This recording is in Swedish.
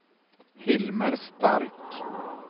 Hilmer Stark